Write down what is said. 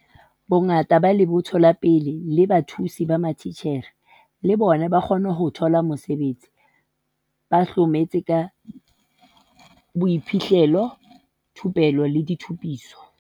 Bongata ba lebotho la pele la bathusi ba matitjhere, le bona, ba kgona ho thola mesebetsi, ba hlometse ka boiphihlelo, thupello le ditshupiso.